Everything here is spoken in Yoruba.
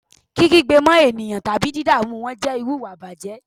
Kí kígbe mọ́ eniyan tabi didamu wọn jẹ iru iwa ìbàjẹ́